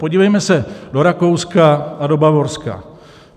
Podívejme se do Rakouska a do Bavorska.